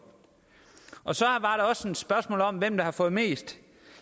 så et spørgsmål om hvem der har fået mest